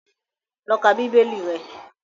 Lọ ka Bíbélì rẹ!